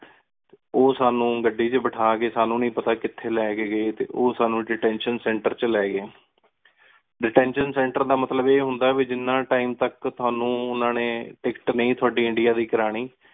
ਓਹ ਸਾਨੂ ਗਦੀ ਏਚ ਬੇਤਹਾ ਕ ਸਾਨੂ ਨੀ ਪਤਾ ਕਿਤਹੀ ਲੀ ਕ ਗਏ ਟੀ ਓਹ ਸਾਨੂ detention Center ਏਚ ਲੀ ਗਏ Detention Center ਦਾ ਮਤਲਬ ਇਹ ਹੁੰਦਾ ਵੀ ਜਿੰਨਾ Time ਤਕ ਤੁਹਾਨੂ ਓਹਨਾ ਨੀ ਤਿਕ੍ਕੇਟ ਨੀ ਤੁਹਾਡੀ ਇੰਡੀਆ ਦੀ ਨੀ ਕਰਨੀ